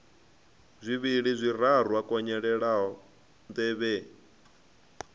zwivhili zwiraru a konyolela nḓevhe